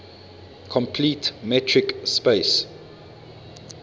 complete metric space